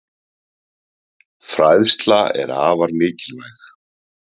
Fræðsla er afar mikilvæg.